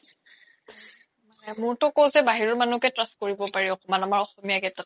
মোৰ তো কৈছোয়ে বাহিৰৰ মানুহ্কে trust কৰিব পাৰি অকমান আমাৰ অসমীয়া কেইতাত কে